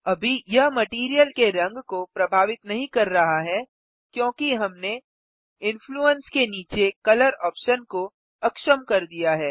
अभी यह मटैरियल के रंग को प्रभावित नहीं कर रहा है क्योंकि हमने इन्फ्लूएंस के नीचे कलर ऑप्शन को अक्षम कर दिया है